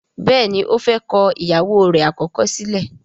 béèni ọ fè kọ ìyàwó rẹ̀ àkọ́kọ́ sílẹ̀.